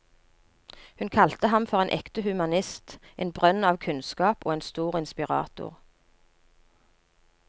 Hun kalte ham for en ekte humanist, en brønn av kunnskap og en stor inspirator.